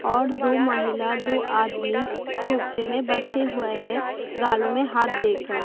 और दो महिला दो आदमी सोफे में बैठे हुए हैं गाल में हाथ देकर।